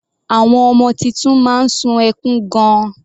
Àwọn ọmọ titun máa ń sun ẹkún gan-an.